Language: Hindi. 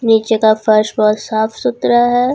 नीचे का फर्स बहुत साफ सुथरा है।